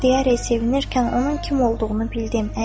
Yar-yar deyərək sevinərkən onun kim olduğunu bildim.